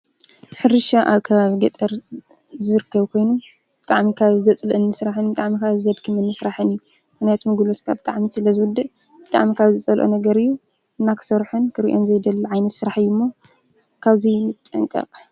ሕርሻ አብ ከባቢ ገጠር ዝርከብ ኮይኑ ብጣዕሚ ካብ ዘፅልአኒ ስራሕ ብጣዕሚ ዘድክም ስራሕ እዪ። ምክንያቱም ጉልበትካ ብጣዕሚ ስለ ዝዉድእ ብጣዕሚ ካብ ዝፀልኦ ነገር እዪ እና ክሰርሖን ክሪኦን ዘይደሊ ዓይነት ስራሕ እዪ ሞ ካበዚ ንጠንቀቅ።